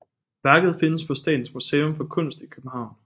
Værket findes på Statens Museum for Kunst i København